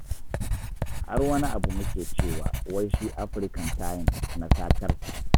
Har wani abu muke cewa wai shi Afirikan Tayim na sakarci.